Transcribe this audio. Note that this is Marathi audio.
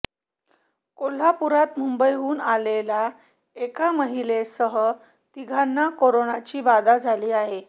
कोल्हापुरात मुंबईहून आलेल्या एका महिलेसह तिघांना कोरोनाची बाधा झाली आहे